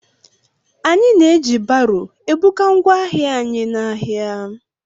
Anyị na-eji baro ebuga ngwa ahịa anyị n'ahia.